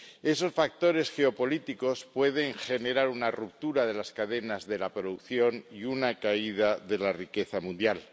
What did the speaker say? Esos factores geopolíticos pueden generar una ruptura de las cadenas de producción y una caída de la riqueza mundial.